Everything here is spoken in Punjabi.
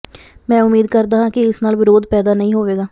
ਮੈਂ ਉਮੀਦ ਕਰਦਾ ਹਾਂ ਕਿ ਇਸ ਨਾਲ ਵਿਰੋਧ ਪੈਦਾ ਨਹੀਂ ਹੋਵੇਗਾ